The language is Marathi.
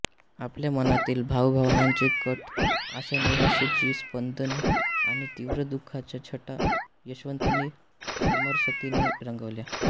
आपल्या मनातील भावभावनांचे कढ आशानिराशेची स्पंदने आणि तीव्र दुःखाच्या छटा यशवंतांनी समरसतेने रंगवल्या